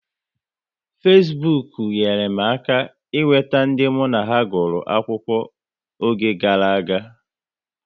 Fesbuk nyere m aka ị nweta ndị mụ na ha gukoro akwụkwọ oge gara aga